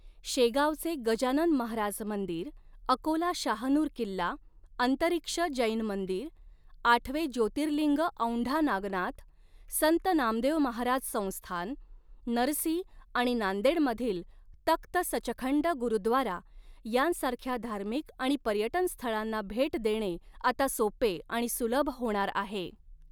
शेगावचे गजानन महाराज मंदिर, अकोला शाहनूर किल्ला, अंतरीक्ष जैन मंदिर, आठवे ज्योतिर्लिंग औंढा नागनाथ, संत नामदेव महाराज संस्थान, नरसी आणि नांदेडमधील तख्त सचखंड गुरुद्वारा यांसारख्या धार्मिक आणि पर्यटन स्थळांना भेट देणे आता सोपे आणि सुलभ होणार आहे.